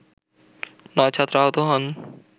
নয় ছাত্র আহত হন